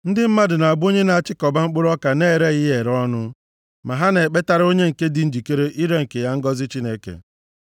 Ndị mmadụ na-abụ onye na-achịkọba mkpụrụ ọka na-ereghị ya ere ọnụ, ma ha na-ekpetara onye nke dị njikere ire nke ya ngọzị Chineke.